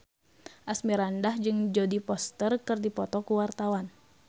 Asmirandah jeung Jodie Foster keur dipoto ku wartawan